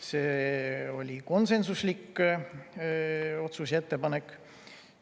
See oli konsensuslik otsus ja ettepanek.